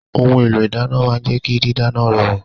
Ohun èlò ìdáná máa ń jẹ́ kí dídáná rọrùn